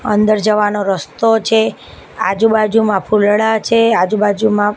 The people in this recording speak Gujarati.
અંદર જવાનો રસ્તો છે આજુ-બાજુમાં ફુલડા છે આજુ-બાજુમાં --